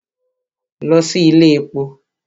Lọ sí ilé èpo!